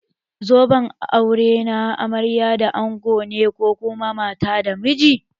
Zoben aure na amarya da ango ne ko kuma mata da miji.